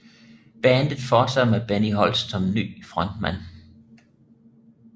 Bandet forsatte med Benny Holst som ny frontmand